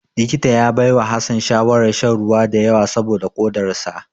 Likita ya baiwa Hassan shawarar shan ruwa da yawa saboda kodar sa.